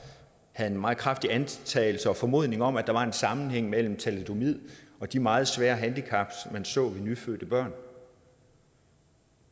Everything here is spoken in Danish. havde en meget kraftig antagelse og formodning om at der var en sammenhæng mellem thalidomid og de meget svære handicaps man så i nyfødte børn